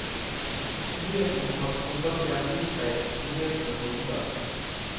Nyheten om at håndballstjernen gir seg, slo ned som en bombe.